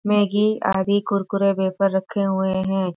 Maggi आदि कुरकुरे वहे पर रखे हुए है।